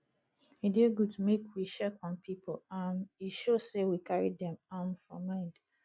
e dey good make we check on people um e show sey we carry dem um for mind